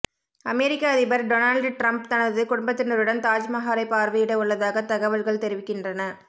அமெரிக்க அதிபர் Donald Trump தனது குடும்பத்தினருடன் தாஜ்மஹாலை பார்வையிட உள்ளதாக தகவல்கள் தெரிவிக்கின்றன